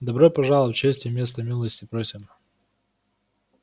добро пожаловать честь и место милости просим